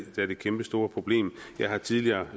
kæmpestore problem jeg har tidligere